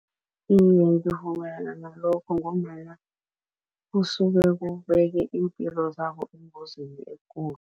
Iye, ngivumelana nalokho ngombana usuke kubekwe iimpilo zabo engozini ekulu.